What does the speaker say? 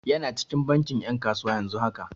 Yana cikin bankin 'yan kasuwa yanzu haka.